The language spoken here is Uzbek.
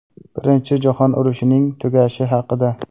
Birinchi jahon urushining tugashi haqida.